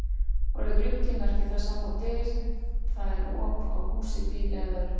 Orðið gluggi merkir það sama og dyr, það er op á húsi, bíl eða öðru.